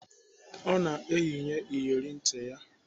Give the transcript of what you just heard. Ọ na-eyinye iyeri ntị ya.